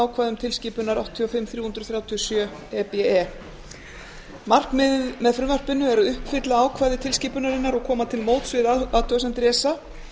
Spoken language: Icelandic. ákvæðum tilskipunar áttatíu og fimm þrjú hundruð þrjátíu og sjö e b e markmiðið með frumvarpinu er að uppfylla ákvæði tilskipunarinnar og koma til móts við athugasemdir esa